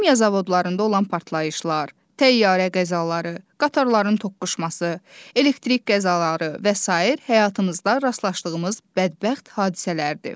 Kimya zavodlarında olan partlayışlar, təyyarə qəzaları, qatarların toqquşması, elektrik qəzaları və sair həyatımızda rastlaşdığımız bədbəxt hadisələrdir.